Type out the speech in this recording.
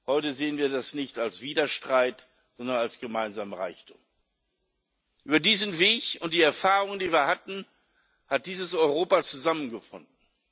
Heute sehen wir das nicht als Widerstreit, sondern als gemeinsamen Reichtum. Über diesen Weg und die Erfahrungen, die wir hatten, hat dieses Europa zusammengefunden.